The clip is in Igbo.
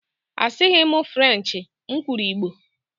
Asịghị m Frenchi, m kwuru igbo